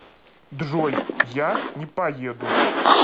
джой я не поеду